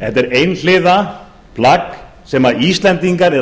er einhliða plagg sem íslendingar eru að